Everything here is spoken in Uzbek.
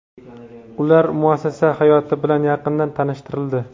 ular muassasa hayoti bilan yaqindan tanishtirildi.